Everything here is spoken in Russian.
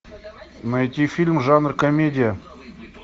найти фильм жанр комедия